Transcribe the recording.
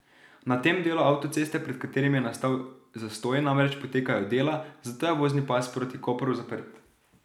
Na tem delu avtoceste, pred katerim je nastal zastoj, namreč potekajo dela, zato je vozni pas proti Kopru zaprt.